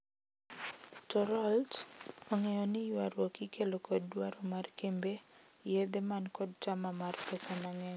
To Raoult , ongeyo ni ywaruok ikelo kod dwaro mar kembe yedhe man kod tama mar pesa mangeny.